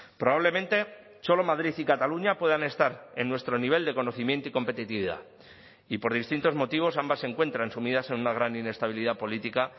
probablemente solo madrid y cataluña puedan estar en nuestro nivel de conocimiento y competitividad y por distintos motivos ambas se encuentran sumidas en una gran inestabilidad política